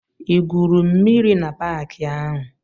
I gwuru mmiri na paki ahụ?